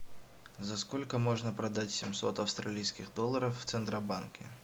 за сколько можно продать семьсот австралийских долларов в центробанке